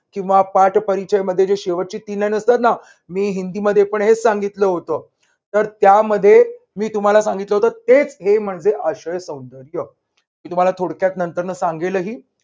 किंवा पाठ परिचय मध्ये जे शेवटचे असतात ना. मी हिंदीमध्ये पण हेच सांगितलं होतं, तर त्यामध्ये मी तुम्हाला सांगितलं होतं तेच हे जे आशयसौंदर्य. मी तुम्हाला थोडक्यात नंतर सांगेलही.